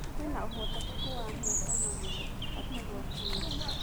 Kwĩna ũhotekeku wa mũũngano mwerũ, Gachagua kuuga